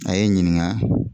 A ye n ɲininga